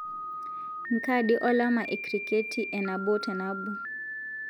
nkaadi olama e kriketi e nabo te nabo